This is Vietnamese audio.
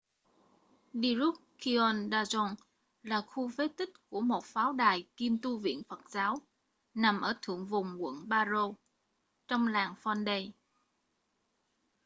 drukgyal dzong là khu phế tích của một pháo đài kiêm tu viện phật giáo nằm ở thượng vùng quận paro trong làng phondey